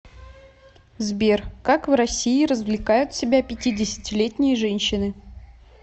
сбер как в россии развлекают себя пятидесятилетние женщины